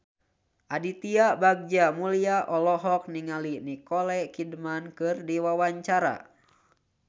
Aditya Bagja Mulyana olohok ningali Nicole Kidman keur diwawancara